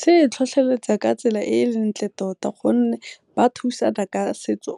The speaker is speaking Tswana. Se e tlhotlheletsa ka tsela e ntle tota gonne ba thusana ka setso,